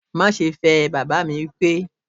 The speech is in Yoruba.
Má ṣe fẹ́ ẹ! baba mi wipe